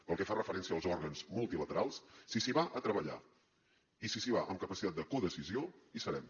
pel que fa referència als òrgans multilaterals si s’hi va a treballar i si s’hi va amb capacitat de codecisió hi serem